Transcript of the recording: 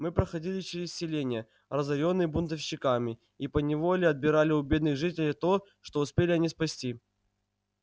мы проходили через селения разорённые бунтовщиками и поневоле отбирали у бедных жителей то что успели они спасти